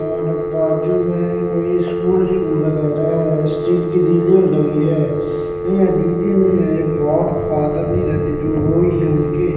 और बाजू में कोई स्कूल स्कूल वगैरा है स्टील की रिलिंग लगी है ने दीदी ने एक गॉडफादर नहीं रहती जो वही है उनके--